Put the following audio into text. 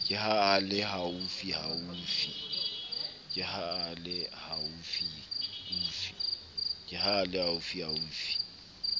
ke ha a le haufiufi